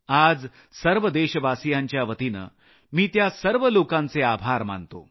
आज सर्व देशवासियांच्या वतीनं मी त्यां सर्व लोकांचे आभार मानतो